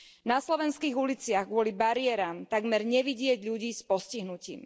Na slovenských uliciach kvôli bariéram takmer nevidieť ľudí s postihnutím.